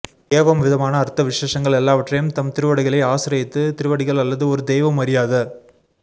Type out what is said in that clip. ஏவம் விதமான அர்த்த விசேஷங்கள் எல்லாவற்றையும் தம் திருவடிகளை ஆஸ்ரயித்து திருவடிகள் அல்லது ஒரு தெய்வம் அறியாத